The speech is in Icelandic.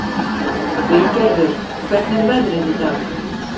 Vilgerður, hvernig er veðrið í dag?